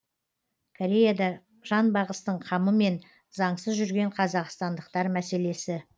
кореяда жанбағыстың қамымен заңсыз жүрген қазақстандықтар мәселесі